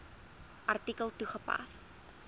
artikel toegepas